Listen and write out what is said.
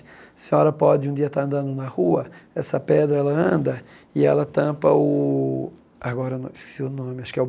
A senhora pode um dia estar andando na rua, essa pedra, ela anda e ela tampa o... agora eu esqueci o nome, acho que é o...